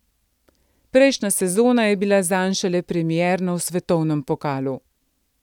Prejšnja sezona je bila zanj šele premierna v svetovnem pokalu.